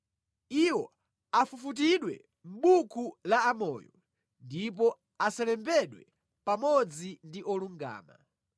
Iwo afufutidwe mʼbuku la amoyo ndipo asalembedwe pamodzi ndi olungama.